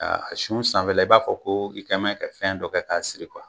A a sun sanfɛla i b'a fɔ ko i kɛn bɛ ka fɛn dɔ kɛ k'a siri kuwa